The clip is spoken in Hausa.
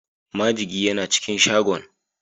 Majigi yana cikin shagon.